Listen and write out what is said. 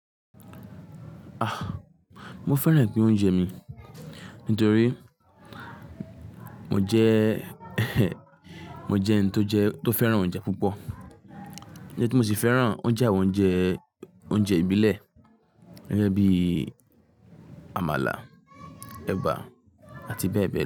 Ah! Mo fẹ́ràn pín oúnjẹ mi nítorí mo jẹ́, mo jẹ́ ẹni tó jẹ́, tó fẹ́ràn oúnjẹ púpọ̀. Níbi tí mo sì fẹ́ràn oúnjẹ àwọn oúnjẹ, oúnjẹ ìbílẹ̀, gẹ́gẹ́ bí Àmàlà, Ẹ̀bà àti bẹ́ẹ̀ bẹ́ẹ̀ lọ.